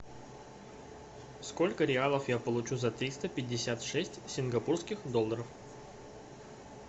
сколько реалов я получу за триста пятьдесят шесть сингапурских долларов